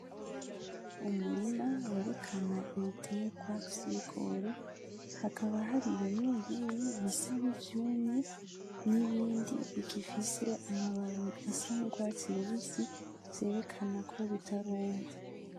umurima werekena ibiterwa vy' ibigori hakaba hari bimwe bimwe bisa nkivyumye n' ibindi bifise amababi asa n' urwatsi rubisi vyerekena ko bitaruma.